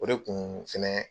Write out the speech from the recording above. O de tun fɛnɛ